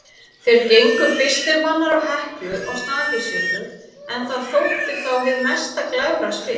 Þeir gengu fyrstir manna á Heklu og Snæfellsjökul, en það þótti þá hið mesta glæfraspil.